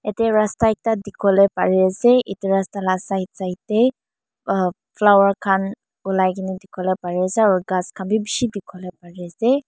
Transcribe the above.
yadae rasta ekta dikipolae pari asae. Etu rasta laa side side dae uhh flower khan olaikina dikipolae pari asae aro khas kan bi bishi dikipolae pari asae.